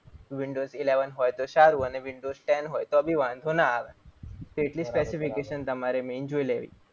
windows eleven હોય તો સારું અને windows ten બી હોય તો વાંધો ના આવે. તમારે જોઈ લેવી.